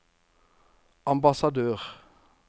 ambassadør